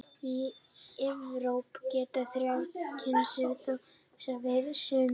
Í Evrópu geta þrjár kynslóðir þroskast yfir sumarið.